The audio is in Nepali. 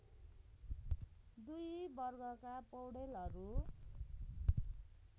दुई वर्गका पौडेलहरू